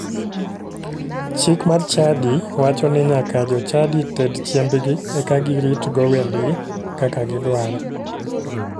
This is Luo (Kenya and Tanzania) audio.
Chik mar chadi wacho ni nyaka jochadi ted chiembgi eka giritgo wendgi kaka gidwaro.